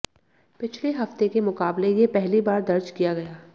पिछले हफ्ते के मुकाबले ये पहली बार दर्ज किया गया